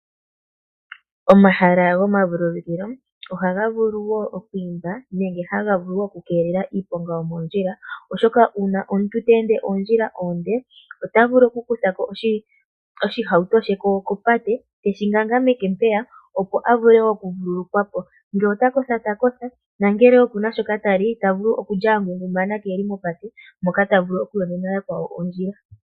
Omahala gomavululukilo ohaga vulu oku imba nenge haga vulu okukelela iiponga yomoondjila, oshoka uuna omuntu te ende ondjila onde ota vulu okukutha ko oshihauto she kopate teshi kankameke, opo a vule okuvululukwa po ngele ota kotha ta kotha nangele oku na shoka ta li ta vulu okulya a ngungumana kee li mopate moka ta vulu okuyonena yakwawo ondjila.